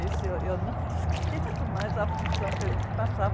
Esse eu não esqueço mais a aflição que a gente passava.